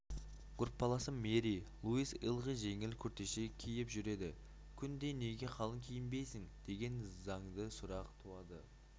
группаласым мэри луиз ылғи жеңіл күртеше киіп жүреді күнде неге қалың киінбейсің деген заңды сұрақ туады